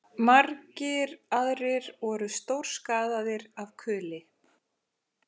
Margir aðrir voru stórskaðaðir af kuli